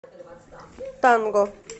танго